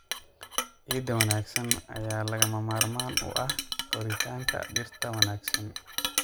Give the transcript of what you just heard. Ciid wanaagsan ayaa lagama maarmaan u ah koritaanka dhirta wanaagsan.